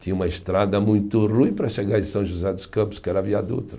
Tinha uma estrada muito ruim para chegar em São José dos Campos, que era a Via Dutra.